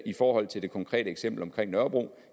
i forhold til det konkrete eksempel på nørrebro